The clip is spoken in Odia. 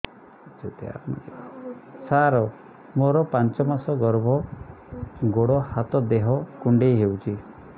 ସାର ମୋର ପାଞ୍ଚ ମାସ ଗର୍ଭ ଗୋଡ ହାତ ଦେହ କୁଣ୍ଡେଇ ହେଉଛି